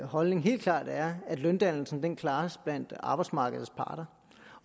holdning helt klart er at løndannelsen klares blandt arbejdsmarkedets parter